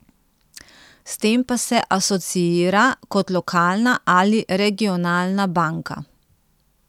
S tem pa se asociira kot lokalna ali regionalna banka.